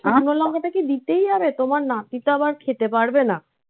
আচ্ছা. শুকনো লঙ্কাটা কি দিতেই হবে? তোমার নাতি তো আবার খেতে পারবে না